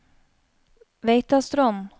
Veitastrond